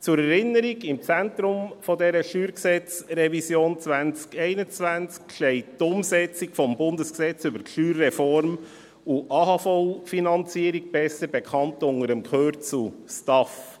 Zur Erinnerung: Im Zentrum dieser StG-Revision 2021 steht die Umsetzung des Bundesgesetzes über die Steuerreform und die AHV-Finanzierung, besser bekannt unter dem Kürzel STAF.